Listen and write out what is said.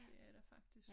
Det er der faktisk